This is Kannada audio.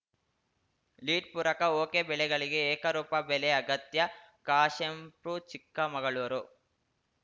ಲೀಡ್‌ ಪೂರಕ ಒಕೆಬೆಳೆಗಳಿಗೆ ಏಕರೂಪ ಬೆಲೆ ಅಗತ್ಯ ಕಾಶೆಂಪೂರ್‌ ಚಿಕ್ಕಮಗಳೂರು